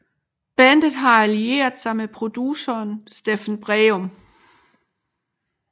Bandet har allieret sig med produceren Steffen Breum